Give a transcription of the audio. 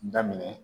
Daminɛ